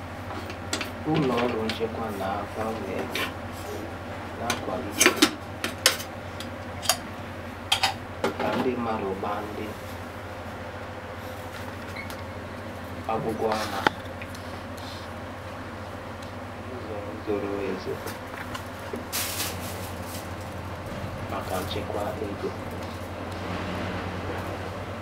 Ụlọ ọrụ nchekwa na mgbanwe ego na-akwalite ka ndi mmadụ gbaa ndi aghụghọ ama n'uzo zoro ezo maka nchekwa ego.